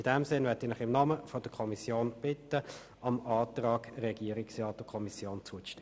In diesem Sinn bitte ich Sie im Namen der Kommission, dem Antrag von Regierungsrat und Kommission zuzustimmen.